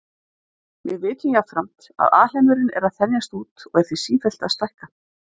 Við vitum jafnframt að alheimurinn er að þenjast út og er því sífellt að stækka.